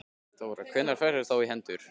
Þóra: Hvenær færðu þá í hendur?